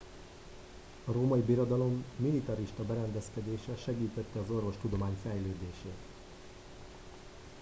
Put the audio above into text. a római birodalom militarista berendezkedése segítette az orvostudomány fejlődését